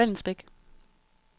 Vallensbæk